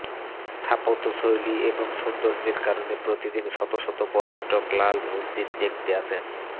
স্থাপত্য শৈলী এবং সৌন্দর্যের কারণে প্রতিদিন শতশত পর্যটক লাল মসজিদ দেখতে আসেন